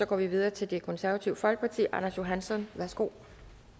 går videre til det konservative folkeparti herre anders johansson værsgo